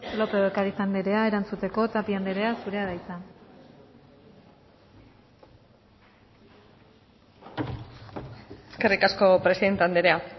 lópez de ocariz andrea erantzuteko tapia andrea zurea da hitza eskerrik asko presidente andrea